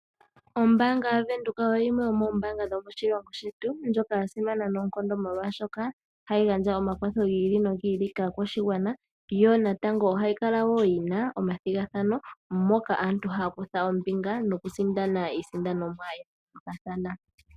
Ombaanga ya venduka oyo yimwe yomoombaanga dhomoshilongo shetu ndjoka ya simana noonkondo molwashoka, oha yi gandja omakwatho gi ili nogi ili kaakwashigwana yo natango oha yi kala wo yina omathigathano, moka aantu haya kutha ombinga noku sindana iisiindanomwa ya yoolokathana.